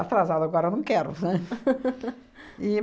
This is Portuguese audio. Atrasado agora eu não quero, né?